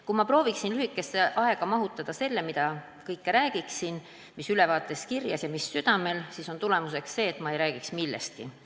Kui ma prooviksin lühikesse aega mahutada selle, mida kõike tahaksin rääkida sellest, mis on ülevaates kirjas ja mis südamel, siis oleks tulemuseks see, et ma ei räägiks millestki.